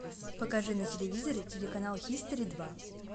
покажи на телевизоре телеканал хистори два